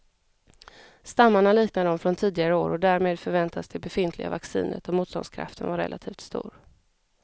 Stammarna liknar de från tidigare år och därmed förväntas det befintliga vaccinet och motståndskraften vara relativt stor.